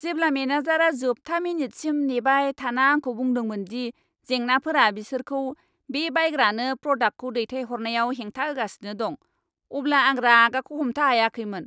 जेब्ला मेनेजारआ जोबथा मिनिटसिम नेबाय थाना आंखौ बुंदोंमोन दि जेंनाफोरा बिसोरखौ बे बायग्रानो प्रदाक्टखौ दैथायहरनायाव हेंथा होगासिनो दं, अब्ला आं रागाखौ हमथा हायाखैमोन।